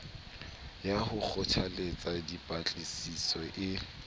ya ho kgothalletsa dipatlisiso e